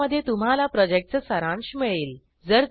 ज्यामध्ये तुम्हाला प्रॉजेक्टचा सारांश मिळेल